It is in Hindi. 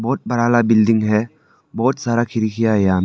बहुत बड़ा वाला बिल्डिंग है। बहुत सारा खिड़कीयां है यहां में।